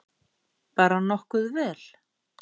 Bara nokkuð vel.